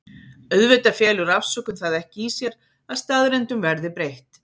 Auðvitað felur afsökun það ekki í sér að staðreyndum verði breytt.